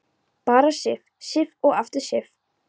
Bara Sif, Sif og aftur Sif.